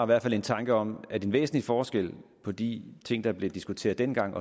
hvert fald en tanke om at en væsentlig forskel på de ting der blev diskuteret dengang